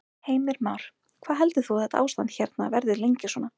Heimir Már: Hvað heldur þú að þetta ástand hérna verði lengi svona?